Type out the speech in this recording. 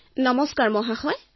সৌম্যাঃ নমস্কাৰ মহোদয়